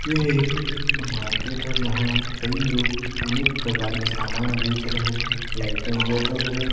यह एक मार्किट है जहाँ कई लोग अनेक प्रकार के सामान बेच रहे हैं लाइटे जल रही हैं।